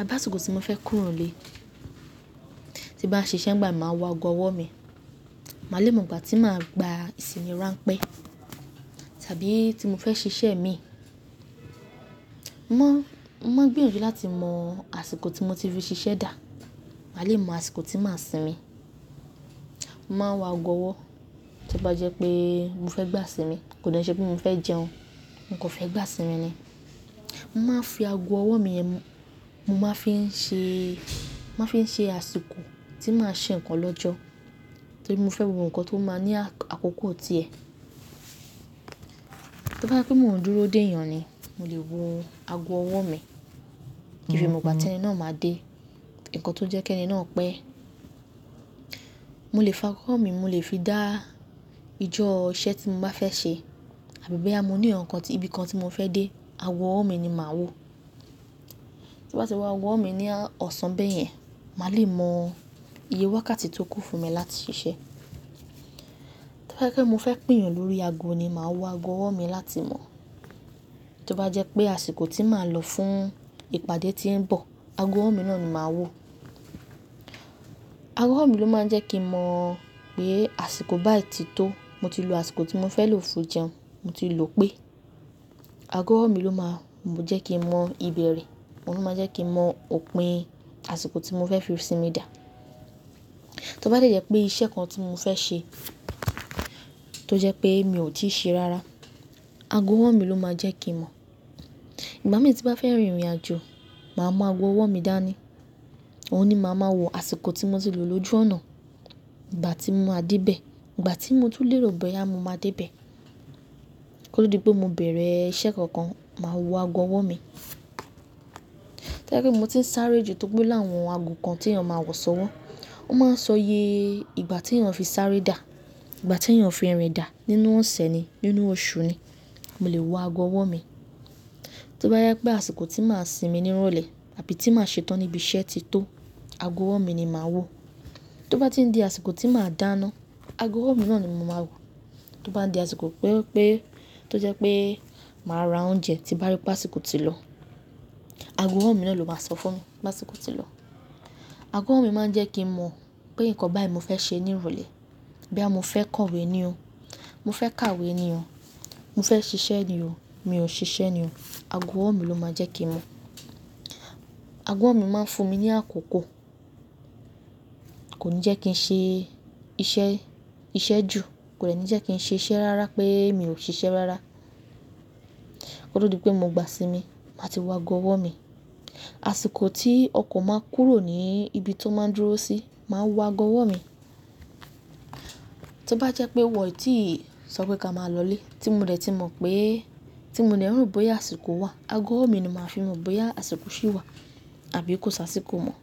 àbí àsìkò tí mo fẹ́ kúrò nílé. Tí bá ṣiṣẹ́ ń gba, màá wọ ago ọwọ́ mi. Màá le mọ ìgbà tí màá gba ìsìnmi iránpẹ́ tàbí tí mo fẹ́ ṣiṣẹ́ mi. Mọ́, mó ń gbìyànjú láti mọ àsìkò tí mo ti fi ṣiṣẹ́ dà, màá le mọ àsìkò tí màá sinmi. Mo máa ń wọ ago ọwọ́ tí bá jẹ́ pé mo fẹ́ gbá sinmi, kò de nse pé mo fẹ́ jẹun, mo kò fẹ́ gbá sinmi ni. Mo máa ń fi ago ọwọ́ mi yẹn, mo máa ń fi ń ṣe, mo máa ń fi ń ṣe àsìkò tí màá ṣe nǹkan lọ́jọ́ tí mo fẹ́ wo nǹkan tó máa ní àkókò ti ẹ̀. To bá jẹ́ pé mò ń dúró dè èèyàn ni, mo lè wọ ago ọwọ́ mi kí fi mọ ìgbà tí ẹni náà máa dé, nǹkan tó jẹ́ kí ẹni náà pẹ́. Mo lè fi ago ọwọ́ mi, mo lè fi dá ìjọ iṣẹ́ tí mo bá fẹ́ ṣe àbí bóyá mo ní ǹkan tí, ibi kan tí mo fẹ́ dé, ago ọwọ́ mi ni màá wò. Tí bá ti wọ ago ọwọ́ mi ní ọ̀sán bẹ́ẹ̀ yẹn, màá le mọ iye wákàtí tó kún fún mi láti ṣiṣẹ́. Tí bá jẹ́ pé mo fẹ́ pèèyàn lórí ago ni, màá wọ ago ọwọ́ mi láti mọ̀. Tí ó bá jẹ́ pé àsìkò tí màá lọ fún ìpàdé tí ń bọ̀, ago ọwọ́ mi náà ni màá wò. Ago ọwọ́ mi ló máa ń jẹ́ kí n mọ pé àsìkò bái ti tó, mo ti lo àsìkò tí mo fẹ́ lò fún jẹun, mo ti lò pé. Ago ọwọ́ mi ló máa ń jẹ́ kí n mọ ìbéèrè, òun ló máa ń jẹ́ kí n mọ òpin àsìkò tí mo fẹ́ fi sinmi dà. Tí ó bá jẹ́ pé iṣẹ́ kan tí mo fẹ́ ṣe tó jẹ́ pé mi ò tí ì ṣe rárá, ago ọwọ́ mi ló máa jẹ́ kí n mọ̀. Ìgbà mì tí bá fẹ́ rin ìrìnàjò, màá mọ ago ọwọ́ mi dá ní. Òun ni màá máa wọ àsìkò tí mo ti lò lójú ọ̀nà, ìgbà tí mo máa dé bẹ̀, ìgbà tí mo tún lérò bóyá mo máa dé bẹ̀. Ó dipe mo bẹ̀rẹ̀ iṣẹ́ kankan, màá wọ ago ọwọ́ mi. To bá jẹ́ pé mo ti ń sáré ju tóripẹ́ o láwọn ago kan tí èèyàn máa ń wọ̀ sọ wọ́n, ó máa ń sọ yé ìgbà tí èèyàn fi sáré dà, ìgbà tí èèyàn fi rìn dà nínú ọ̀sẹ̀ ni, nínú oṣù ni, mo lè wọ ago ọwọ́ mi. Tí ó bá jẹ́ pé àsìkò tí màá sinmi ni ń rọlẹ̀ àbí tí màá ṣe tán níbi iṣẹ́ ti tó, ago ọwọ́ mi ni màá wò. Tí ó bá ti ń di àsìkò tí màá dáná, ago ọwọ́ mi náà ni mo máa wò. Tí ó bá ń di àsìkò pé, pé tó jẹ́ pé màá ra oúnjẹ tí bá rí pé àsìkò ti lọ, ago ọwọ́ mi náà ló máa sọ fún mi, bá ti kú tí lọ. Ago ọwọ́ mi máa ń jẹ́ kí n mọ̀ pé nǹkan bá yí mo fẹ́ ṣe ní ìrọlẹ̀. Bí àmo fẹ́ kowé ni o, mo fẹ́ kàwé ni o, mo fẹ́ ṣiṣẹ́ ni o, mi ò ṣiṣẹ́ ni o, ago ọwọ́ mi ló máa jẹ́ kí n mọ̀. Ago ọwọ́ mi máa ń fún mi ní àkókò. Kò ní jẹ́ kí n ṣe iṣẹ́, iṣẹ́ jù, kò de ni jekìn sise rárá pé mi ò ṣiṣẹ́ rárá. Ko to dí pé mo gbá isinmi, màá ti wọ ago ọwọ́ mi. Àsìkò tí ọkọ̀ máa ń kúrò ní ibi tó máa ń dúró sí, màá wọ ago ọwọ́ mi. Tí ó bá jẹ́ pé wọ̀n í ti sọ pé ká máa lọlé tí mo dẹ̀ ti mọ̀ pé, tí mo de robbóyá àsìkò wà, ago ọwọ́ mi ni màá fi mọ̀ bóyá àsìkò ṣí wà àbí kò sá àsìkò mọ́.